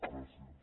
gràcies